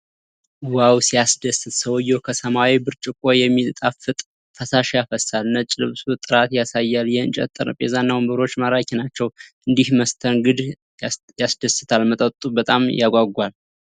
ዋው ሲያስደስት! ሰውየው ከሰማያዊ ብርጭቆ የሚጣፍጥ ፈሳሽ ያፈሳል። ነጭ ልብሱ ጥራት ያሳያል። የእንጨት ጠረጴዛና ወንበሮች ማራኪ ናቸው። እንዲህ መስተናገድ ያስደስታል። መጠጡ በጣም ያጓጓል።